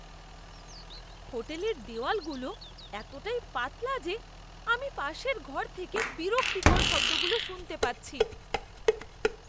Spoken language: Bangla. হোটেলের দেওয়ালগুলো এতটাই পাতলা যে আমি পাশের ঘর থেকে বিরক্তিকর শব্দগুলো শুনতে পাচ্ছি!